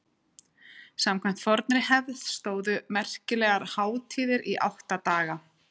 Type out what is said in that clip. samkvæmt fornri hefð stóðu merkilegar hátíðir í átta daga